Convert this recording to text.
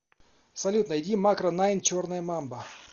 салют найди макро найн черная мамба